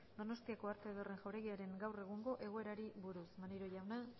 donostiako arte ederren jauregiaren gaur egungo egoerari buruz maneiro jauna